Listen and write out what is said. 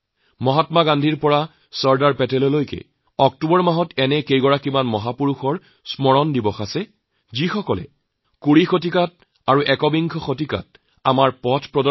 মহাত্মা গান্ধীৰ পৰা চৰদাৰ বল্লভ ভাই পেটেললৈকে অক্টোবৰ মাহত কেইবাগৰাকী মহাপুৰুষৰ জন্ম হৈছিল যিসকলে বিংশ শতিকা আৰু একবিংশ শতিকাত আমাৰ নেতৃত্ব দিছিল